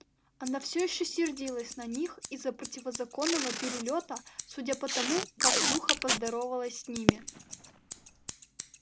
она всё ещё сердилась на них из-за противозаконного перелёта судя по тому как сухо поздоровалась с ними